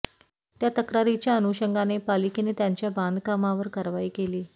त्या तक्रारीच्या अनुषंगाने पालिकेने त्यांच्या बांधकामांवर कारवाई केली